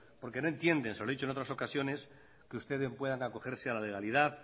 porque no entienden se lo he dicho en otras ocasiones que ustedes puedan acogerse a la legalidad